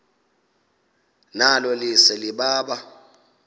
nalo lise libaha